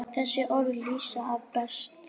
Þessi orð lýsa afa best.